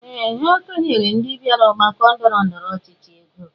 Ee! Ha kenyere ndị bịara ọgbakọ ndọrọ ndọrọ ọchịchị ego.